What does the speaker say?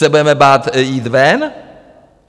Se budeme bát jít ven?